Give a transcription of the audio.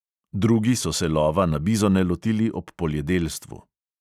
Drugi so se lova na bizone lotili ob poljedelstvu.